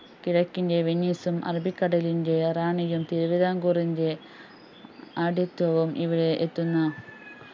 കിഴക്കിന്റെ വെനീസും അറബിക്കടലിന്റെ റാണിയും തിരുവിതാംകൂറിന്റെ ആഡ്യത്വവും ഇവിടെ എത്തുന്ന